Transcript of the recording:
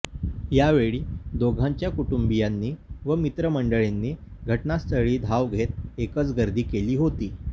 यावेळी दोघांच्या कुटूंबीयांनी व मित्र मंडळींनी घटनास्थळी धाव घेत एकच गर्दी केली होती